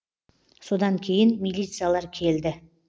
содан кейін милициялар келді